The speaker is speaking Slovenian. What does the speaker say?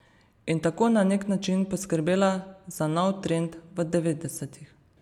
In tako na nek način poskrbela za nov trend v devetdesetih.